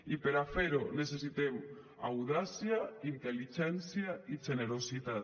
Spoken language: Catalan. i per a fer ho necessitem audàcia intel·ligència i generositat